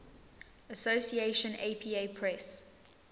association apa press